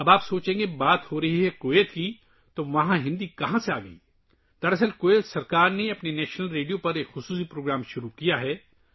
اب آپ سوچیں گے کہ ہم کویت کی بات کر رہے ہیں تو وہاں ہندی کہاں سے آگئی؟ دراصل، کویت حکومت نے اپنے نیشنل ریڈیو پر ایک خصوصی پروگرام شروع کیا ہے